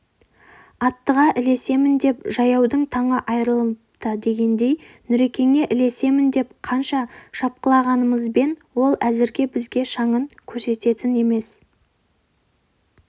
аттыға ілесем деп жаяудың таңы айырылыпты дегендей нүрекеңе ілесемін деп қанша шапқылағанымызбен ол әзірге бізге шаңын көрсететін емес